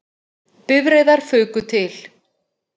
Bifreiðar fuku til